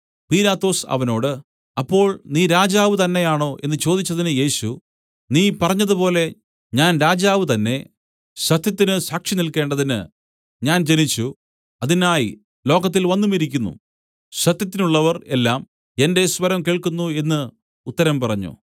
പീലാത്തോസ് അവനോട് അപ്പോൾ നീ രാജാവ് തന്നേയാണോ എന്നു ചോദിച്ചതിന് യേശു നീ പറഞ്ഞതുപോലെ ഞാൻ രാജാവ് തന്നേ സത്യത്തിന് സാക്ഷിനില്ക്കേണ്ടതിന് ഞാൻ ജനിച്ചു അതിനായി ലോകത്തിൽ വന്നുമിരിക്കുന്നു സത്യത്തിനുള്ളവർ എല്ലാം എന്റെ സ്വരം കേൾക്കുന്നു എന്നു ഉത്തരം പറഞ്ഞു